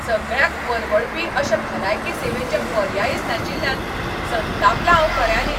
सगळ्यांक परवडपी अशे भलायकी सेवेचे पर्यायच नाशिल्ल्यान संतापलां हांव खऱ्यांनीच.